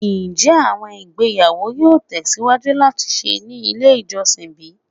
Njẹ awọn igbeyawo yoo tẹsiwaju lati ṣe ni ile ijọsin bi?